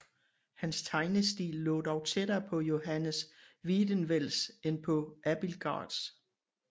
Hans tegnestil lå dog tættere på Johannes Wiedewelts end på Abildsgaards